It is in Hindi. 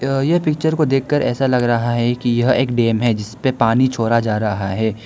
यह पिक्चर को देखकर ऐसा लग रहा है कि यह एक डेम है जिस पे पानी छोड़ा जा रहा है।